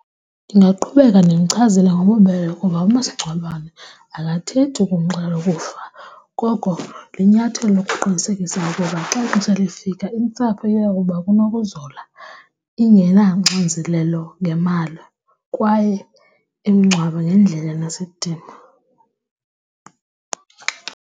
Ndingaqhubeka ndimchazele ngobubele ukuba umasingcwabane akathethi ukumxelela ukufa koko linyathelo lokuqinisekisa ukuba xa ixesha lifika intsapho iya kuba kunokuzola ingenaxinzelelo ngemali kwaye imingcwabe ngendlela enesidima.